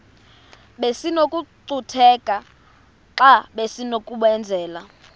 besinokucutheka xa besinokubenzela